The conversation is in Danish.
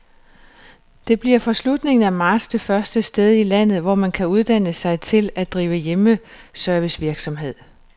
Det bliver fra slutningen af marts det første sted i landet, hvor man kan uddanne sig til at drive hjemmeservicevirksomhed.